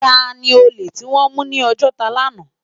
Tàni ólé tiwòn mú ni Ojota làná?